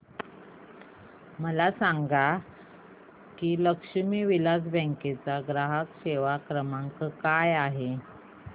मला सांगा की लक्ष्मी विलास बँक चा ग्राहक सेवा क्रमांक काय आहे